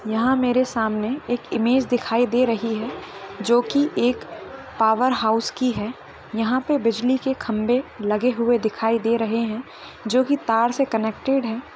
यहाँ मेरे सामने एक इमेज दिखाई दे रही है जोकि एक पावर हाउस की है। यहाँ पे बिजली के खंबे लगे हुए दिखाई दे रहे हैं जोकि तार से कनेक्टेड हैं।